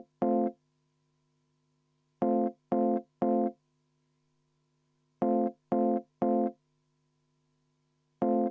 Vaheaeg kümme minutit.